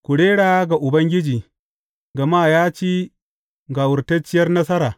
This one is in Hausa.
Ku rera ga Ubangiji gama ya ci gawurtacciyar nasara.